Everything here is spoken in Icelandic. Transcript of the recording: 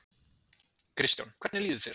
Kristján: Hvernig líður þér?